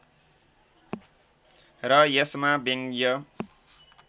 र यसमा व्यङ्ग्य